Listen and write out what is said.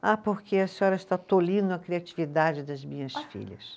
Ah, porque a senhora está tolindo a criatividade das minhas filhas.